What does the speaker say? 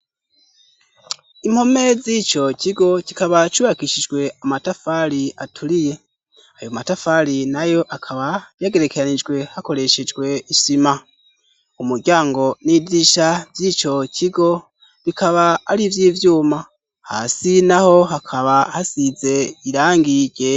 Impome z'ico kigo kikaba cubakishijwe amatafari aturiye. Ayo matafari na yo akaba yagerekeranijwe hakoreshejwe isima. Umuryango n'idirisha vy'ico kigo bikaba ari ivy'ivyuma hasi naho hakaba hasize irangi ryera.